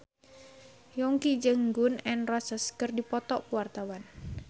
Yongki jeung Gun N Roses keur dipoto ku wartawan